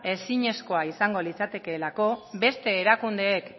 ezinezkoa izango litzatekeelako beste erakundeek